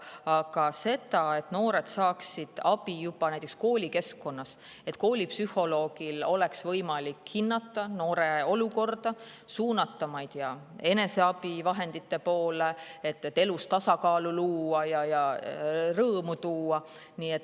Aga, et noored saaksid abi juba koolikeskkonnas, et koolipsühholoogil oleks võimalik hinnata noorte olukorda, suunata neid, ma ei tea, eneseabivahendite poole, et elus tasakaalu luua ja rõõmu tuua.